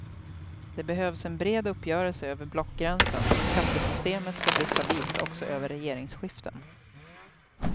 Det behövs en bred uppgörelse över blockgränsen om skattesystemet ska bli stabilt också över regeringsskiften.